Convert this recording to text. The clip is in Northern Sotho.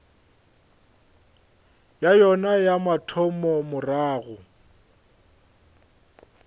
ya yona ya mathomo morago